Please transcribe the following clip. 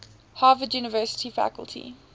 harvard university faculty